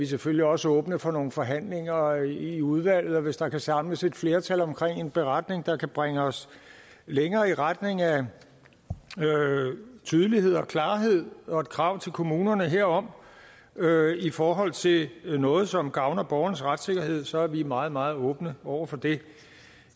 selvfølgelig også åbne for nogle forhandlinger i udvalget og hvis der kan samles et flertal om en beretning der kan bringe os længere i retning af tydelighed og klarhed og et krav til kommunerne herom i forhold til noget som gavner borgernes retssikkerhed så er vi meget meget åbne over for det